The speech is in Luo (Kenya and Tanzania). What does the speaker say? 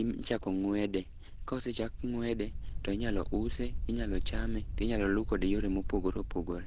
ichako ng'wede. Kosechak ng'wede, to inyalo use ,inyalo chame, to inyalo luw kode yore mopogore opogore.